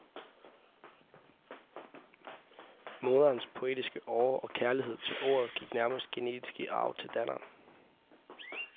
Moderens poetiske åre og kærlighed til ordet gik nærmest genetisk i arv til datteren.